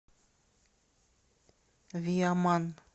виаман